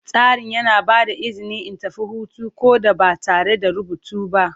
Tsarin yana ba da izini in tafi hutu ko da ba tare da rubutu ba.